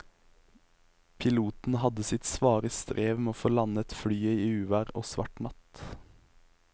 Piloten hadde sitt svare strev med å få landet flyet i uvær og svart natt.